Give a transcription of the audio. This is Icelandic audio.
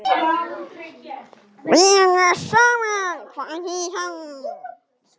Vera saman, hvað þýðir það?